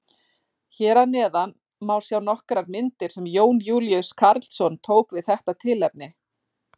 Hér að neðan má sjá nokkrar myndir sem Jón Júlíus Karlsson tók við þetta tilefni.